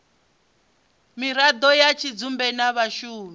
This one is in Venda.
miraḓo ya tshidzumbe na vhashumi